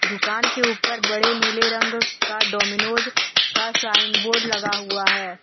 दुकान के ऊपर बड़े नीले रंग का डोमिनोज का साइन बोर्ड लगा हुआ है।